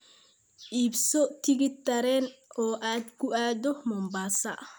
I iibso tigidh tareen oo aad ku aado mombasa